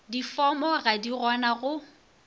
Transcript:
difomo ga di gona go